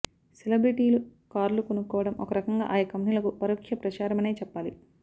సెలబ్రటీలు కార్లు కొనడం ఒక రకంగా ఆయా కంపెనీలకు పరోక్ష ప్రచారమనే చెప్పాలి